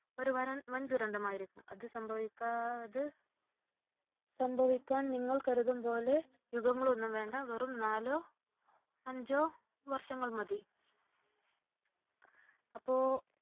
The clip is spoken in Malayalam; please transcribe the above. ഒരു വൻ ദുരന്തമായിരിക്കും. അത് സംഭവിക്ക അത് സംഭവിക്കാൻ നിങ്ങൾ കരുതും പോലെ യുഗങ്ങളൊന്നും വേണ്ട വെറും നാലോ അഞ്ചോ വർഷങ്ങൾ മതി. അപ്പോ